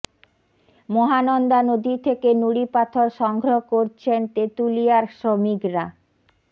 মহানন্দা নদী থেকে নুড়ি পাথর সংগ্রহ করছেন তেঁতুলিয়ার শ্রমিকরা